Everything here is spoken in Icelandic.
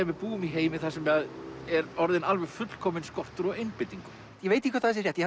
við búum í heimi þar sem er orðinn fullkominn skortur á einbeitingu ég veit ekki hvort það sé rétt